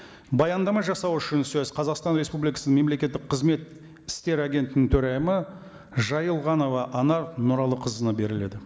баяндама жасау үшін сөз қазақстан республикасының мемлекеттік қызмет істері агенттігінің төрайымы жайылғанова анар нұралықызына беріледі